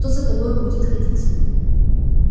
кто за тобою будет ходить